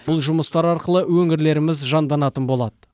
бұл жұмыстар арқылы өңірлеріміз жанданатын болады